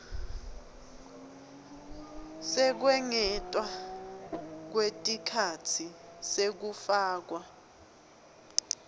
sekwengetwa kwesikhatsi sekufakwa